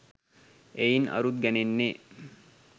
එයින් අරුත් ගැනෙන්නේ